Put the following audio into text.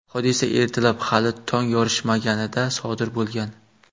Hodisa ertalab, hali tong yorishmaganida sodir bo‘lgan.